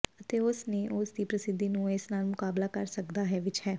ਅਤੇ ਉਸ ਨੇ ਉਸ ਦੀ ਪ੍ਰਸਿੱਧੀ ਨੂੰ ਇਸ ਨਾਲ ਮੁਕਾਬਲਾ ਕਰ ਸਕਦਾ ਹੈ ਵਿੱਚ ਹੈ